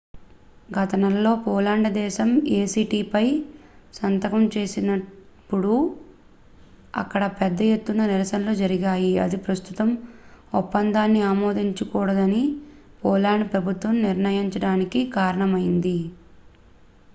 గత నెలలో పోలాండ్ దేశం ఏ సి టి ఏ పై సంతకం చేసినప్పుడు అక్కడ పెద్ద ఎత్తున నిరసనలు జరిగాయి ఇది ప్రస్తుతం ఒప్పందాన్ని ఆమోదించకూడదని పోలాండ్ ప్రభుత్వం నిర్ణయించడానికి కారణమయింది